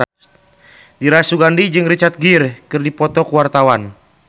Dira Sugandi jeung Richard Gere keur dipoto ku wartawan